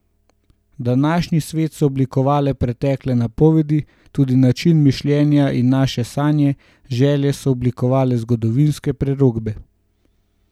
Današnji svet so oblikovale pretekle napovedi, tudi način mišljenja in naše sanje, želje so oblikovale zgodovinske prerokbe.